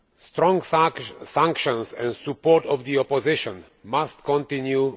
Strong sanctions and EU support for the opposition must continue.